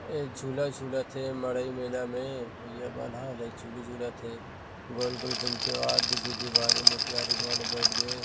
ए झूला झूलत हे मड़ई मेला में भैया मन ह टुरी झूलत हे गोल - गोल घूमथे वाह दे दीदी मोटयारिन वाले बइठ गे हे।